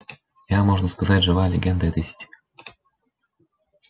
я можно сказать живая легенда этой сети